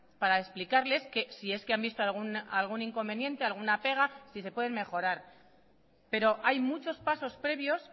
para explicarles que si es que han visto algún inconveniente alguna pega si se pueden mejorar pero hay muchos pasos previos